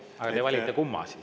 Aga kumma te valite siis?